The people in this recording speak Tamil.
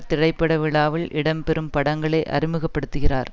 திரைப்பட விழாவில் இடம்பெறும் படங்களை அறிமுகப்படுத்துகிறார்